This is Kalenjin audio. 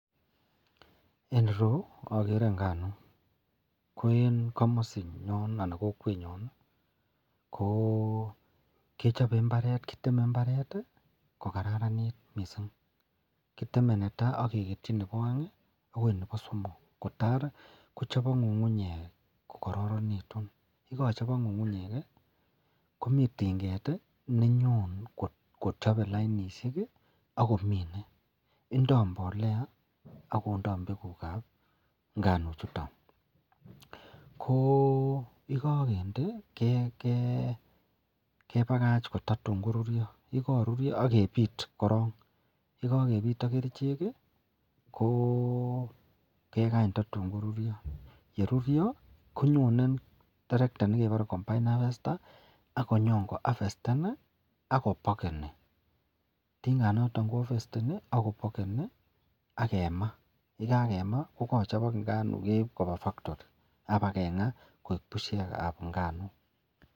En ireyu agere nganuk ko en gamasi nyon anan en kokwet nyon kokechobe imbaret ageteme inbaret kokararanit mising kiteme netai ak keketui Nebo aeng akoi Nebo somok kotai kochobok ngu'ngu'nyek kokararanikitun Komi tingetvnenyon kochaben lainishek akomine akondoo mbolea ak mbekuk ab nganuk chuton ko yikakende kebakach kotatun korurio akyekakoturio agebit korong ak yegagebit ak kerchek kegany tatun korurio ak yerurio konyonen terekta nekebare combine harvester akonyobko harvesten akobakeni akemaa ak yekakemaa kokachabok nganuk ageib Koba factori kengaa